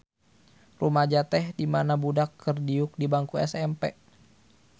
Rumaja teh dimana budak keur diuk di bangku SMP.